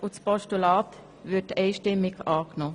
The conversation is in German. ein Postulat würde einstimmig angenommen.